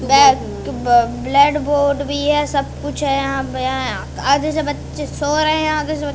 blade board भी है सब कुछ है यहां पे आधे से बच्चे सो रहे हैं यहां पे--